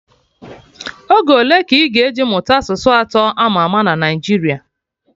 Oge ole ka ị ga-eji mụta asụsụ atọ ama ama na Naijiria